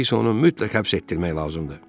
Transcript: İndi isə onu mütləq həbs etdirmək lazımdır.